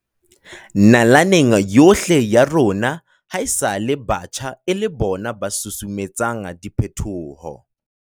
Nalaneng yohle ya rona hae-sale batjha e le bona ba susumetsang diphetoho.